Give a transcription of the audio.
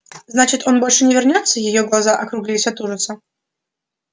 значит он больше не вернётся её глаза округлились от ужаса